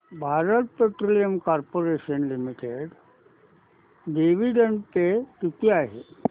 Bharat petroleum corporation limited dividend pay किती आहे